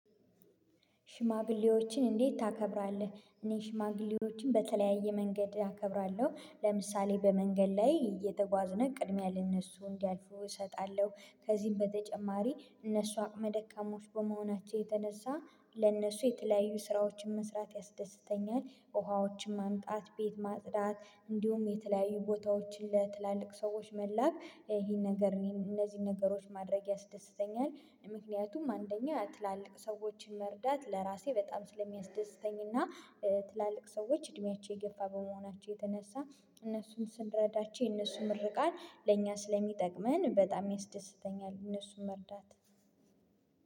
ሽማግሌዎችን እንዴት ታከብራለህ? እኔ ሽማግሌዎችን በተለያየ መንገድ እከብራለሁ ለምሳሌ በመንገድ ላይ እየተጓዝነን ቅድሚያ ለእነሱ እንዲያልፉ እሰጣለሁ። ከዚህም በተጨማሪ እነሱ አቅመ ደካማዎች በመሆናቸው የተነሳ ለእነሱ የተለያዩ ስራዎችን መስራት ያስደስተኛል። ውሃዎችን ማምጣት ቤት ማጽዳት እንዲሁም የተለያዩ ቦታዎችን ለትላልቅ ሰዎች መላክ ይሄን ነገር እነዚህን ነገሮች ማድረግ ያስደስተኛል። ምክንያቱም አንደኛ ያልተላለቅ ሰዎችን መርዳት ለራሴ በጣም ስለሚያስደስተኝና ትላልቅ ሰዎች እድሜያቸው የገፋ በመሆናቸው የተነሳ እነሱን ስንረዳቸው የእነሱን ምርቃት ለእኛ ስለሚጠቅመን በጣም ያስደስተኛል። እነሱን መርዳት